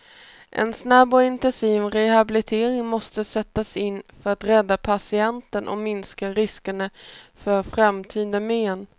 En snabb och intensiv rehabilitering måste sättas in för att rädda patienten och minska riskerna för framtida men.